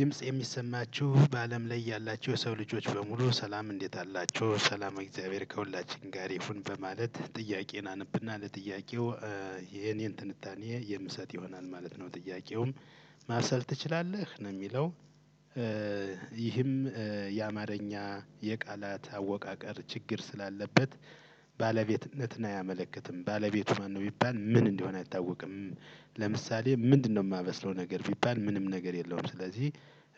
ድምጽ የሚሰማችሁ በአለም ላይ ያላችሁ የሰው ልጆች በሙሉ ሰላም እንዴት አላችሁ ሰላመ እግዚአብሔር ከሁላችን ጋር ይሁን በማለት ጥያቄዬን አነብና ለጥያቄው የእኔን ትንታኔ የምሰጥ ይሆናል ማለት ነው። ጥያቄውም ማሰል ትችላለህ ነው የሚለው? ይህም የአማረኛ የቃላት አወቃቀር ችግር ስላለበት ባለቤትነትን አያመለክትም ባለቤቱ ማነው ቢባል ምን እንደሆነ አይታወቅም። ለምሳሌ ምንድነው እማበስለው ነገር ቢባል ምንም ነገር የለውም። ስለዚህ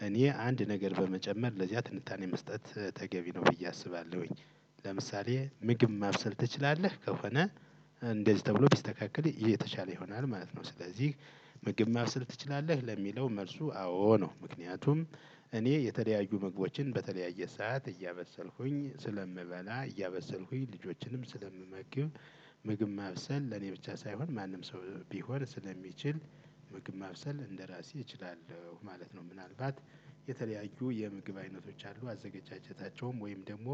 እኔ አንድ ነገር በመጨመር ለዚያ ትንታኔ መስጠት ተገቢ ነው ብዬ አስባለሁኝ። ለምሳሌ ምግብ ማብሰል ትችላለህ ከሆነ እንደዚህ ተብሎ ቢስተካከል የተሻለ ይሆናል ማለት ነው። ስለዚህ ምግብ ማስል ትችላለህ ለሚለው መልሱ አዎ ነው። ምክንያቱም እኔ የተለያዩ ምግቦችን በተለያየ ሰዓት እያበሰልኩኝ ስለምበላ እያበሰልኩኝ ልጆችንም ስለምመግብ። ምግብ ማብሰል ለኔ ብቻ ሳይሆን ማንም ሰው ቢሆን ስለሚችል ምግብ ማብሰል እንደራሴ እችላለሁ ማለት ነው። ምናልባት የተለያዩ የምግብ አይነቶች አሉ አዘገጃጀታቸውም ወይም ደግሞ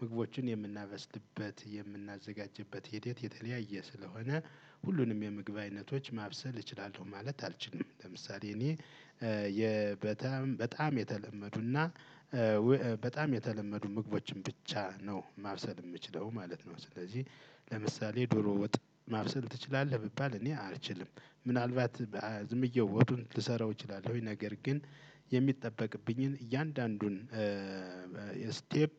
ምግቦችን የምናበስልበት የምናዘጋጅበት ሂደት የተለያየ ስለሆነ። ሁሉንም የምግብ አይነቶች ማብሰል እችላለሁ ማለት አልችልም። ለምሳሌ እኔ በጣም በጣም የተለመዱና በጣም የተለመዱ ምግቦችን ብቻ ነው ማብሰል እምችለው ማለት ነው። ስለዚህ ለምሳሌ ዶሮ ወጥ ማብሰል ትችላለህ ብባል እኔ አልችልም። ምናልባት ዝም ብዬ ወጡን ልሰራው እችላለሁኝ ነገር ግን የሚጠበቅብኝን እያንዳንዱን ስቴፕ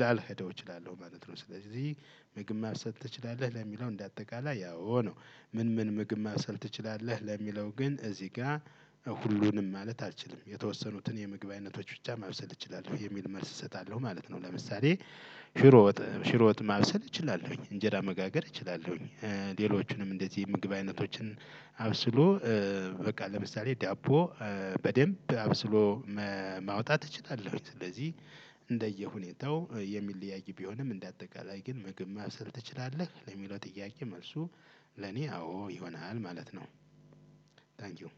ላልሄደው እችላለሁ ማለት ነው። ስለዚህ ምግብ ማብሰል ትችላለህ ለሚለው እንደ አጠቃላይ አዎ ነው። ምን ምን ምግብ ማብሰል ትችላለህ ለሚለው ግን እዚህ ጋ ሁሉንም ማለት አልችልም የተወሰኑትን የምግብ አይነቶች ብቻ ማብሰል እችላለሁ የሚል መልስ እሰጣለሁ ማለት ነው። ለምሳሌ ሽሮ ወጥ ሽሮ ወጥ ማብሰል እችላለሁኝ እንጀራ መጋገር እችላለሁኝ። ሌሎቹንም እንደዚህ ምግብ አይነቶችን አብስሎ በቃ ለምሳሌ ዳቦ በደንብ አብስሎ ማውጣት እችላለሁኝ። ስለዚህ እንደየሁኔታው የሚለያይ ቢሆንም እንደ አጠቃላይ ግን ምግብ ማብሰል ትችላለህ ለሚለው ጥያቄ መልሱ ለኔ አዎ ይሆናል ማለት ነው። ታንኪው